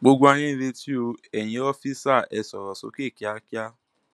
gbogbo ayé ń retí o eyín òòfiṣà ẹ sọrọ sókè kíákíá